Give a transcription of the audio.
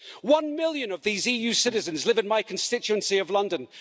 One million of these EU citizens live in my constituency of London.